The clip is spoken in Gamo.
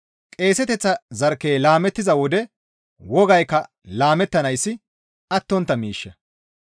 Qeeseteththa zarkkey laamettiza wode wogaykka laamettanayssi attontta miishsha.